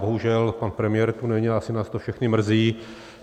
Bohužel, pan premiér tady není, asi nás to všechny mrzí.